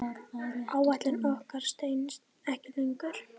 Áætlun okkar stenst ekki lengur.